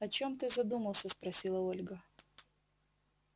о чём ты задумался спросила ольга